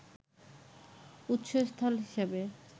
উৎসস্থল হিসাবে